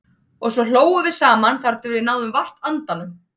Og svo hlógum við saman þar til við náðum vart andanum.